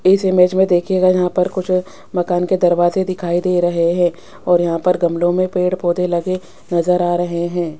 इस इमेज में देखिएगा यहां पर कुछ मकान के दरवाजे दिखाई दे रहे हैं और यहां पर गमलों में पेड़ पौधे लगे नजर आ रहे हैं।